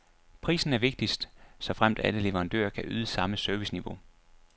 Prisen er vigtigst, såfremt alle leverandører kan yde samme serviceniveau.